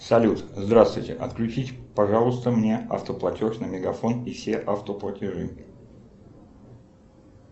салют здравствуйте отключите пожалуйста мне автоплатеж на мегафон и все автоплатежи